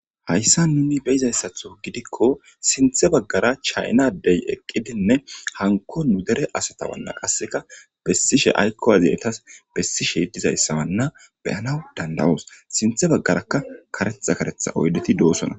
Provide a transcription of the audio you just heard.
Hayssa nuni beyizayssatho gidikko sinthe baggara chaynadey eqqidinne hanko nu dere asatawanna qasseka bessishe aykkowazyetas bessishe dizayssawanna beyanaw dandawoos sinthe baggaraka karetha karetha oydeti doosona